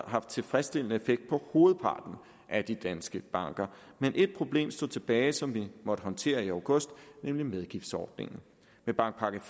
haft tilfredsstillende effekt på hovedparten af de danske banker men ét problem stod tilbage som vi måtte håndtere i august nemlig medgiftsordningen med bankpakke